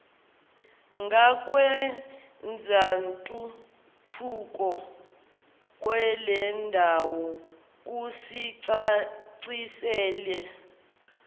ngakwezentuthuko kwalendawo kusicacisela